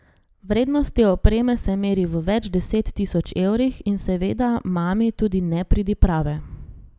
Vrednost te opreme se meri v več deset tisoč evrih, in seveda mami tudi nepridiprave.